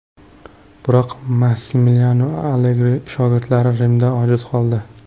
Biroq Massimiliano Allegri shogirdlari Rimda ojiz qoldi.